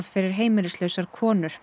fyrir heimilislausar konur